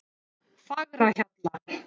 Fagrahjalla